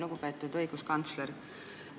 Lugupeetud õiguskantsler!